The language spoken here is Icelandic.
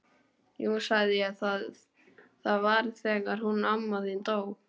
Jú sagði ég, það var þegar hún amma þín dó